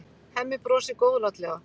Hemmi brosir góðlátlega.